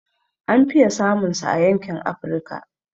An fiye samun sa a yankin Afrika